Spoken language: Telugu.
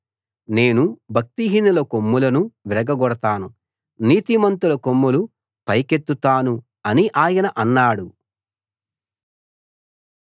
నేను భక్తిహీనుల కొమ్ములను విరగగొడతాను నీతిమంతుల కొమ్ములు పైకెత్తుతాను అని ఆయన అన్నాడు